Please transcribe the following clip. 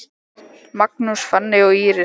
Magnús, Fanney og Íris.